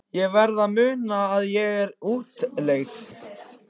Ég verð að muna að ég er í útlegð.